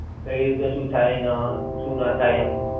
કઈ રીતે શું થાય ને હં શું નાં થાય એમ.